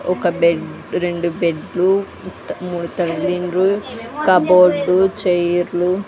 ఒక బెడ్ రెండు బెడ్లు మూడు తల దిండ్లు కబోర్డు చైర్లు --